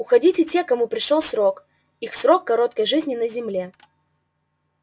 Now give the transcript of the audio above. уходили те кому пришёл срок их короткой жизни на земле